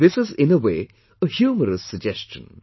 This is in a way a humorous suggestion